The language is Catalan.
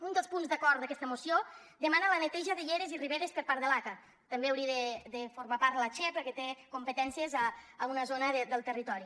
un dels punts d’acord d’aquesta moció demana la neteja de lleres i riberes per part de l’aca també n’hauria de formar part la che perquè té competències a una zona del territori